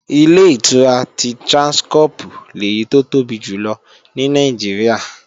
Ilé-ìtura ti Tráńskọ́pù lèyí tó tóbi jù lọ ní Nàìjíríà